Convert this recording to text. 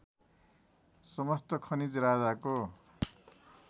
समस्त खनिज राजाको